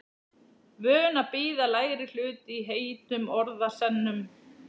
Vön að bíða lægri hlut í heitum orðasennum.